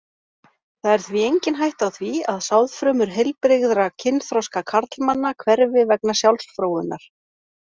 Það er því engin hætta á því að sáðfrumur heilbrigðra kynþroska karlmanna hverfi vegna sjálfsfróunar.